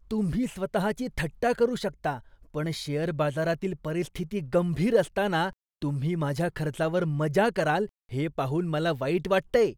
तुम्ही स्वतहाची थट्टा करू शकता, पण शेअर बाजारातील परिस्थिती गंभीर असताना तुम्ही माझ्या खर्चावर मजा कराल हे पाहून मला वाईट वाटतंय.